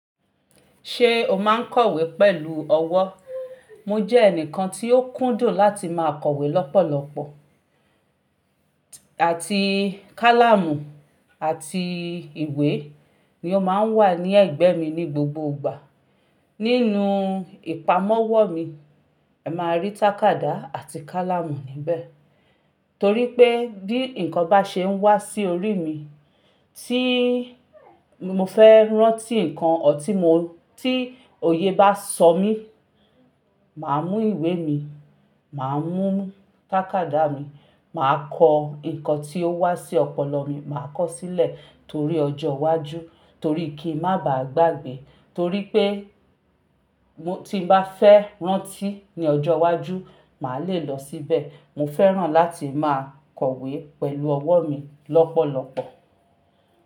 Ṣé o máa ń kọ̀wé pẹ̀lú ọwọ́? Mo jẹ́ ẹnìkan tí ó kúndùn láti máa kọ̀wé lọ́pọ̀lọpọ̀. Àti káláamù àti ìwé ni ó ma ń wà ní ẹ̀gbẹ́ mi ní gbogbo ìgbà. Nínú ìpamọ́wọ́ mi, ẹ máa rí tákádá àti kálámù níbẹ̀. Torí pé bí ǹkan bá ṣe ń wá sí orí mi, tí mo fẹ́ rántí ǹkan or ti mo, tí òye bá sọ mí, màá mú ìwé mi, màá mú tákádá mi, màá kọ ǹkan tí ó wá sí ọpọlọ mi, màá kọ sílẹ̀ torí ọjọ́ iwájú, torí kí ń má bà á gbàgbé, torí pé tí n bá fẹ́ rántí ní ọjọ́ iwájú, màá le lọ síbẹ̀. Mo fẹ́ràn láti máa kọ̀wé pẹ̀lú ọwọ́ mi lọ́pọ̀lọpọ̀.